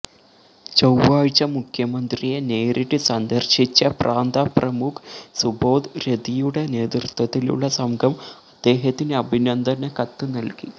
ചൊവ്വാഴ്ച മുഖ്യമന്ത്രിയെ നേരിട്ട് സന്ദര്ശിച്ച പ്രാന്ത പ്രമുഖ് സുബോധ് രതിയുടെ നേതൃത്വത്തിലുള്ള സംഘം അദ്ദേഹത്തിന് അഭിനന്ദനക്കത്ത് നല്കി